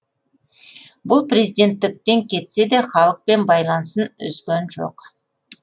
бұл президенттіктен кетсе де халықпен байланысын үзген жоқ